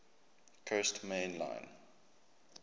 coast main line